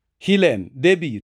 Hilen, Debir,